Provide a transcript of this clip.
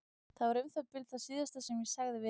Það var um það bil það síðasta sem ég sagði við hann.